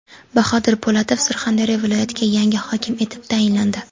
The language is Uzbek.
Bahodir Po‘latov Surxondaryo viloyatiga yangi hokim etib tayinlandi.